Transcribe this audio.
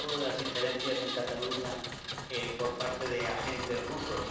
Se ha hablado de las injerencias en Cataluña por parte de agentes rusos.